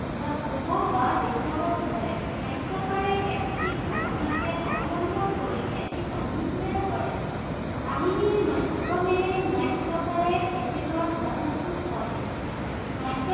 কিবা কব বা দেখুৱাব বিচাৰে। নাট্য়কাৰে একোটি ধাৰণাকে অৱলম্বন কৰি এটি কাহিনী তৈয়াৰ কৰে। কাহিনীৰ মাধ্য়মেৰে নাট্য়কাৰে তেখেতৰ ধাৰণাটো কয়। নাট্য়